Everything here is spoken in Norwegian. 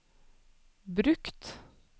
brukt